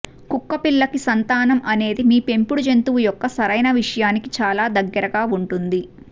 కుక్కపిల్లకి సంతానం అనేది మీ పెంపుడు జంతువు యొక్క సరైన విషయానికి చాలా దగ్గరగా ఉంటుంది